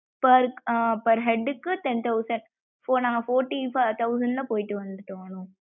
per per head க்கு ten thousand இபோ போட்டி பாத்தா உள்ள போயிட்டு வந்துட்டோம் அனு.